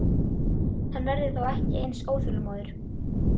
Hann verður þá ekki eins óþolinmóður.